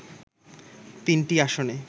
তিনটি আসনে